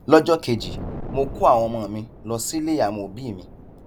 lọjọ kejì mo kó àwọn ọmọ mi lọ sílé àwọn òbí mi